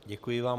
Děkuji vám.